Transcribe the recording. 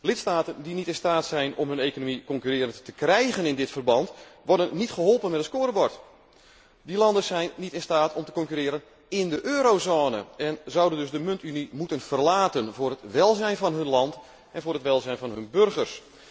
Lidstaten die niet in staat zijn om hun economie concurrerend te krijgen in dit verband, worden niet geholpen met een scorebord. Die landen zijn niet in staat om te concurreren in de eurozone en zouden dus de muntunie moeten verlaten voor het welzijn van hun land en voor het welzijn van hun burgers.